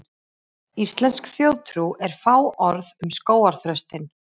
Íslensk þjóðtrú er fáorð um skógarþröstinn.